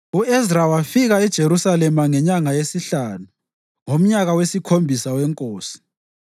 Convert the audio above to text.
U-Ezra wafika eJerusalema ngenyanga yesihlanu ngomnyaka wesikhombisa wenkosi.